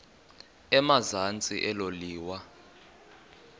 emazantsi elo liwa